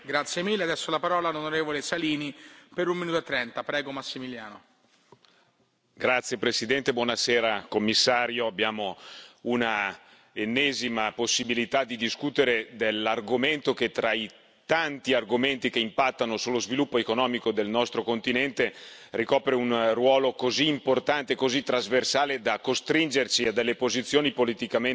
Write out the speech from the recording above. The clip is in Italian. Signor Presidente, onorevoli colleghi, signor commissario, abbiamo un'ennesima possibilità di discutere dell'argomento che, tra i tanti argomenti che impattano sullo sviluppo economico del nostro continente, ricopre un ruolo così importante e così trasversale da costringerci a delle posizioni politicamente sempre più solide e sempre più europee.